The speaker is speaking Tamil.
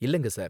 இல்லங்க, சார்